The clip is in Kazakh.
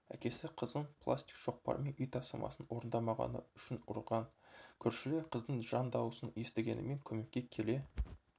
әкесі қызын пластик шоқпармен үй тапсырмасын орындамағаны үшін ұрған көршілер қыздың жан дауысын естігенімен көмекке келе